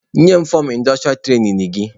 Nye m fọmụ indostrịa trainin gị!